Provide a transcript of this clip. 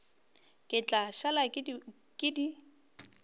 ke tla šala ke di